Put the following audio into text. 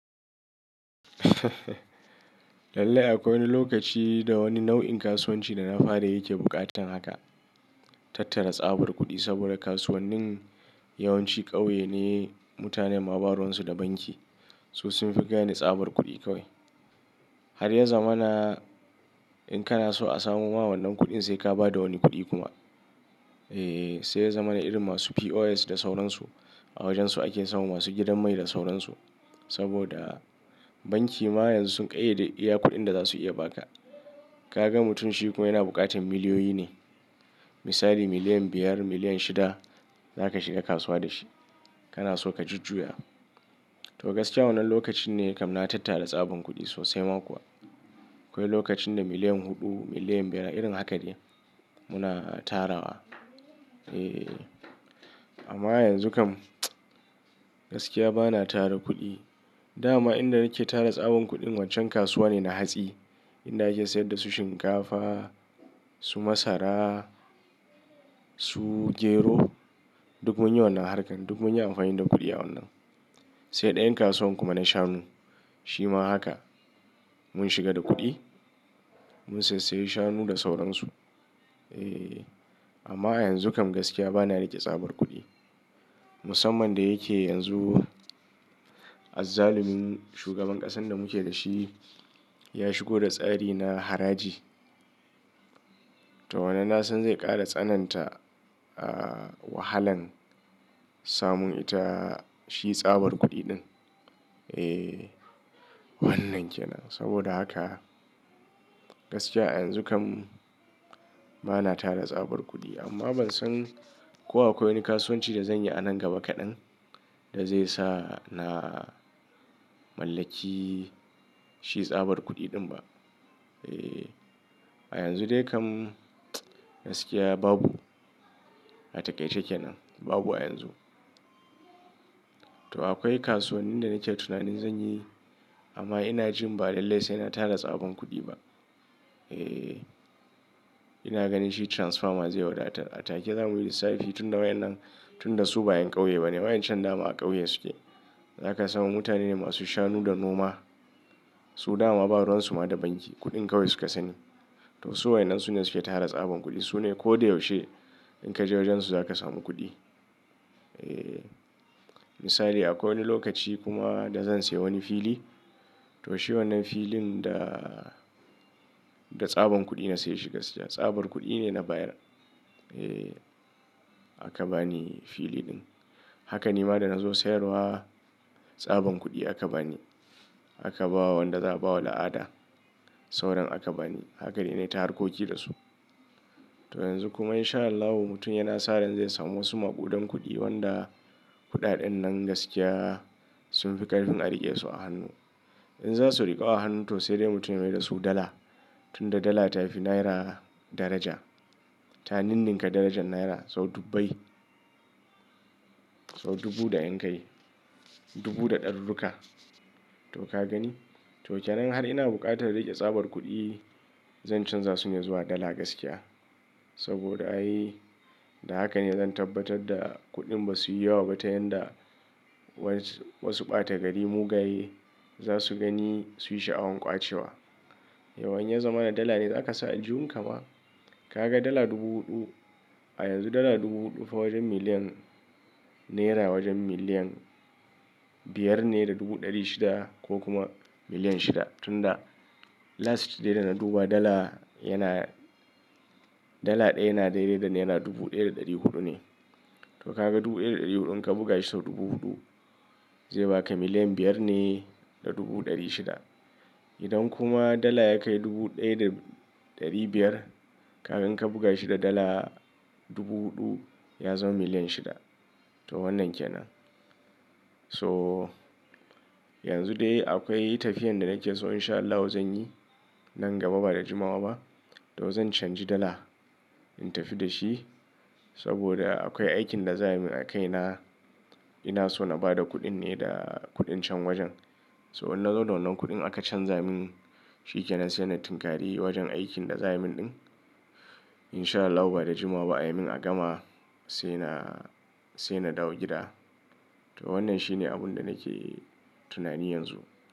Lallai akwai wani lokaci da wani nau'in kasuwanci da na fara yake buƙatar haka, tattara tsabar kuɗi saboda kasuwannin yawanci ƙauye ne mutane ma baruwansu da banki. Su sun fi gane tsabar kuɗi kawai. Har ya zamana in kana so a samo ma wannan kuɗin sai ka ba da wani kuɗi kuma. Eh, sai ya zamana irin masu POS da sauransu. A wajansu ake samu masu gidan mai da sauransu. Saboda banki ma yanzu sun ƙayyade iya kuɗin da za su iya ba ka. Ka ga mutum shi kuma yana buƙatan miliyoyi ne. Misali miliyan biyar, miliyan shida za ka shiga kasuwa da shi. Kana so ka jujjuya. To gaskiya wannan lokacin ne kam na tattara tsaban kuɗi sosai ma kuwa. Akwai lokacin da miliyan huɗu, miliyan biyar irin haka ne muna tarawa. Eh, amma yanzu kam gaskiya bana tara kuɗi. Da ma inda nake tara tsaban kuɗin waccan kasuwa ne na hatsi. Inda ake sayar da su shinkafa, su masara, su gero, duk mun yi wannan harkan, duk mun yi amfani da kuɗi a wannan. Sai ɗayan kasuwan kuma na shanu. Shi ma haka mun shiga da kuɗi mun sassayi shanu da sauransu. Eh, amma yanzu kam gaskiya bana riƙe tsabar kuɗi. Musamman da yake yanzu azzalumin shugaban ƙasan da muke da shi ya shigo da tsari na haraji. To wannan na san zai ƙara tsananta wahalan samun ita shi tsabar kuɗi ɗin. Eh, wannan ke nan. Saboda haka gaskiya a yanzu kam bana tara tsabar kuɗi amma ban san ko akwai wani kasuwanci da zan yi a nan gaba kaɗan da zai sa na mallaki shi tsabar kuɗi ɗin ba. Eh, a yanzu dai kam gaskiya babu. A takaice kenan. Babu a yanzu. To akwai kasuwannin da nake tunanin zan yi amma ina jin ba lallai sai na tara tsaban kuɗi ba. Eh, ina ganin shi transfer zai wadatar. A take zamuyi lissafi tun da wayan nan, tun da su bayan ƙauye bane. Wayan can dama a ƙauye suke. Zaka samu mutane masu shanu da noma. Su dama maɓaransu ma da banki. Kuɗin kawai su ka sani. To su wayan nan su ne suke tara tsaban kuɗi. Su ne ko da yaushe in ka je wajen su za ka samu kuɗi. Eh, misali akwai wani lokaci kuma da zan sayi wani fili. To shi wannan filin da, da tsaban kuɗi na saye shi gaskiya. Tsabar kuɗi ne na bayar. Eh, aka bani fili ɗin. Haka nima da na zo sayarwa. Tsaban kuɗi aka bani. Aka bawa wanda za a bawa la'ada. Sauran aka bani. Haka dai na yi ta harkoki da su. To yanzu kuma in sha Allahu mutum yana sa ran zai samu wasu makuɗan kuɗi wanda kuɗaɗen nan gaskiya sun fi ƙarfin a riƙe su a hannu. In za su riƙu hannu to sai dai mutum ya yi da su dala. Tun da dala ta fi naira daraja. Ta ninninka darajar naira sau dubbai. Sau dubu da en kai. Dubu da ɗarurruka. To ka gani? To kenan har in har buƙatar riƙe tsabar kuɗi, zan canza su ne zuwa dala gaskiya. Saboda ai da haka ne zan tabbatar da kuɗin ba su yi yawa ba ta yanda wasu ɓata gari mugaye za su gani su yi sha'awan ƙwace wa. Yawwa, in ya zamana dala ne za ka sa a aljihun ka ma. Ka ga dala dubu huɗu. A yanzu dala dubu huɗu fa wajen miliyan naira wajen miliyan biyar ne da dubu ɗari shida ko kuma miliyan shida. Tun da last dai da na duba dala yana, dala ɗaya yana daidai da naira dubu ɗaya da ɗari huɗu ne. To ka ga dubu ɗaya da ɗari huɗun ka buga shi sau dubu huɗu zai baka miliyan biyar ne da dubu ɗari shida. Idan kuma dala ya kai dubu ɗaya da ɗari biyar kaga in ka buga shi da dala dubu huɗu ya zama miliyan shida. To wannan ke nan. So yanzu dai akwai tafiyan da nake so in sha Allahu zan yi nan gaba ba da jimawa ba. To zan canji dala in tafi da shi saboda akwai aikin da za a yi min a kai na. Ina so na ba da kuɗin ne da kuɗin can wajen. So in na zo da wannan kuɗin aka canja min shi kenan sai na tinkari wajen aikin da za a yi min ɗin. In sha Allahu ba da jimawa a yi min agama sai na, sai na dawo gida. To wannan shi ne abun da nake tunani yanzu.